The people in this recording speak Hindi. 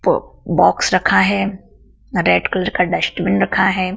प बॉक्स रखा है रेड कलर का डस्टबिन रखा है।